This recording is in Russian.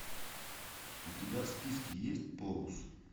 у тебя в списке есть полус